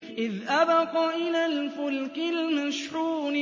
إِذْ أَبَقَ إِلَى الْفُلْكِ الْمَشْحُونِ